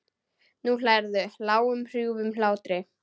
Nú hlærðu, lágum hrjúfum hlátri.